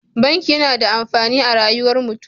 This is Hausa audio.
Banki yAna da amfani a rayuwar mutun